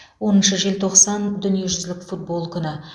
оныншы желтоқсан дүниежүзілік футбол күні